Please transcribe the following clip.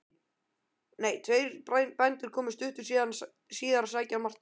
Tveir bændur komu stuttu síðar að sækja Martein.